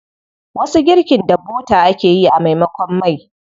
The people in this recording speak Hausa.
Wasu girkin da bota ake yi a maimakon mai.